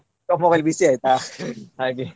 mobile ಬಿಸಿ ಆಯ್ತಾ ಹಾಗೆ.